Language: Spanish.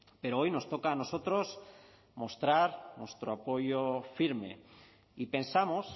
pero hoy nos toca a nosotros mostrar nuestro apoyo firme y pensamos